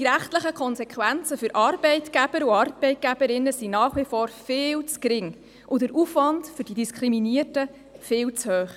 Die rechtlichen Konsequenzen für Arbeitgeber und Arbeitgeberinnen sind nach wie vor viel zu gering, und der Aufwand für die Diskriminierten ist viel zu hoch.